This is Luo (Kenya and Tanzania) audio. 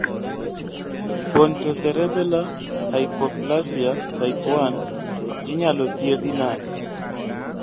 Pontocerebellar hypoplasia type 1 inyalo thiedhi nade